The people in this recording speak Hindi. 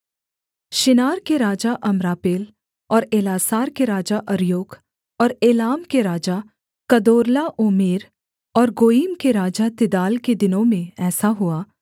शिनार के राजा अम्रापेल और एल्लासार के राजा अर्योक और एलाम के राजा कदोर्लाओमेर और गोयीम के राजा तिदाल के दिनों में ऐसा हुआ